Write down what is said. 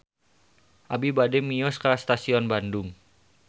Abi bade mios ka Stasiun Bandung